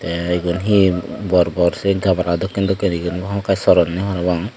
tey igun he bor bor sey gabala dokken dokken guri igun hamakkau soronney parapang.